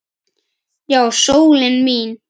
Já, sólin mín.